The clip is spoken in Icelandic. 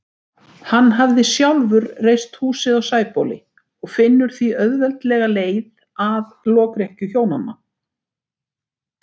Hann hafði sjálfur reist húsið á Sæbóli og finnur því auðveldlega leið að lokrekkju hjónanna.